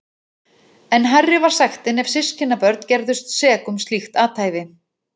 Enn hærri var sektin ef systkinabörn gerðust sek um slíkt athæfi.